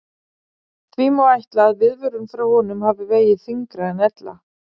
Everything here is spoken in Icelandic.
Því má ætla að viðvörun frá honum hafi vegið þyngra en ella.